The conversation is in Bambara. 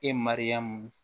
E mariyamu